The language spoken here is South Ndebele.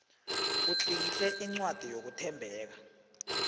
utlikitle incwadi yokuthembeka